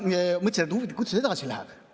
Ma mõtlesin, et huvitav, kuidas edasi läheb.